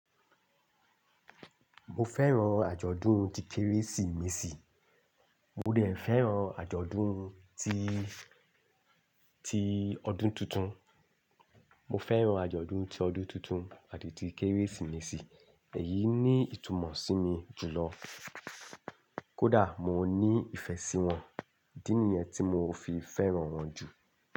Mo fẹ́ran àjọ̀dún ti Kérésìmesì. Mo dẹ̀ fẹ́ran àjọ̀dún ti, ti ọdún tuntun. Mo fẹ́ran àjọ̀dún ti ọdún tuntun àti ti Kérésìmesì, èyí ní ìtumọ̀ sí mi jùlọ. Kódà mo ní ìfẹ́ sí wọn, dí nìyẹn tí mo fi fẹ́ran wọn jù.